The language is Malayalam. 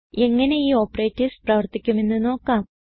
എങ്ങനെ ഈ ഓപ്പറേറ്റർസ് പ്രവർത്തിക്കുമെന്ന് നോക്കാം